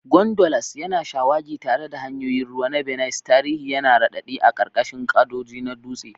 Gondolas yana shawagi tare da hanyoyin ruwa na Venice, tarihi yana raɗaɗi a ƙarƙashin gadoji na dutse.